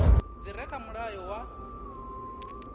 dzi re kha mulayo wa